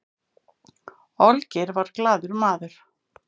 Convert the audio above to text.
olgeir var glaður maður